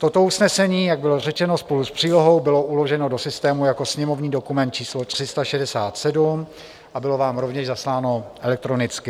Toto usnesení, jak bylo řečeno, spolu s přílohou bylo uloženo do systému jako sněmovní dokument číslo 367 a bylo vám rovněž zasláno elektronicky.